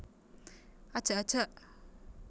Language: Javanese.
Ajak ajak